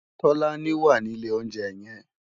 Tolani wá ni ilé óunjè yèn